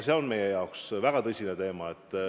See on meile väga tõsine teema.